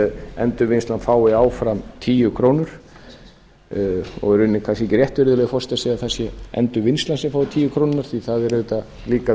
endurvinnslan fái áfram tíu krónur það er í rauninni kannski ekki rétt virðulegi forseti að segja að það sé endurvinnslan sem fái tíu krónur því það erum auðvitað líka